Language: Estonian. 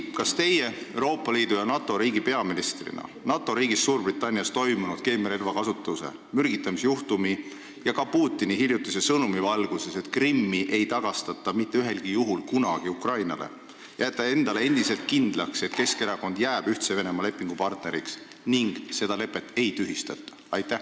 Kas teie Euroopa Liidu ja NATO riigi peaministrina NATO riigis Suurbritannias toimunud keemiarelva kasutuse, mürgitamisjuhtumi ning ka Putini hiljutise sõnumi valguses, et Krimmi ei tagastata kunagi ja mitte ühelgi juhul Ukrainale, jääte endiselt endale kindlaks, et Keskerakond jääb Ühtse Venemaa lepingupartneriks ja seda lepet ei tühistata?